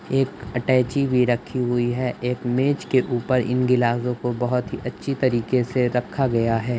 एक अटैची भी रखी हुई है। एक मेज़ के ऊपर इन गिलासों को बहोत ही अच्छे तरीके से रखा गया है।